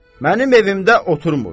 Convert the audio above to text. Mənim evimdə otunmur.